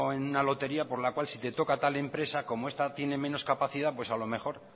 en una lotería por la cual si te toca tal empresa como esta tiene menos capacidad pues a lo mejor